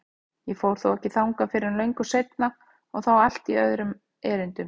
Ég fór þó ekki þangað fyrr en löngu seinna og þá í allt öðrum erindum.